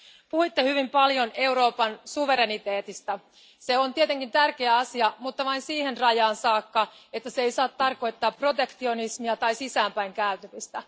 Puhuitte hyvin paljon Euroopan suvereniteetista. Se on tietenkin tärkeä asia, mutta vain siihen rajaan saakka, että se ei saa tarkoittaa protektionismia tai sisäänpäin kääntymistä.